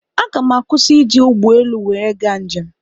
Aga m akwụsi ị ji ụgbọelu nwere ga njem